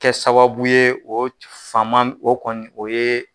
Kɛ sababu ye o fama o kɔni o ye.